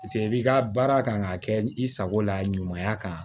Paseke i b'i ka baara kan ka kɛ i sago la ɲumanya kan